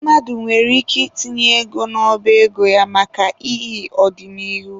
Mmadụ nwere ike itinye ego n'ọba ego ya maka ihi ọdịnihu.